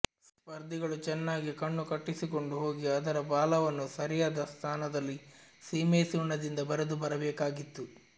ಸ್ಪರ್ಧಿಗಳು ಚೆನ್ನಾಗಿ ಕಣ್ಣು ಕಟ್ಟಿಸಿಕೊಂಡು ಹೋಗಿ ಅದರ ಬಾಲವನ್ನು ಸರಿಯಾದ ಸ್ಥಾನದಲ್ಲಿ ಸೀಮೆಸುಣ್ಣದಿಂದ ಬರೆದು ಬರಬೇಕಾಗಿತ್ತು